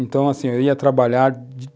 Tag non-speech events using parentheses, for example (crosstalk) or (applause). Então, assim, eu ia trabalhar (unintelligible)